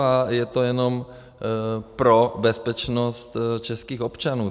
A je to jenom pro bezpečnost českých občanů.